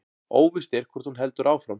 Óvíst er hvort hún heldur áfram